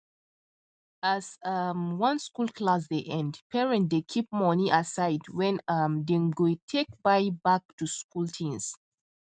as um one school clsss dey end parent dey keep money aside wen um them go take buy back to school things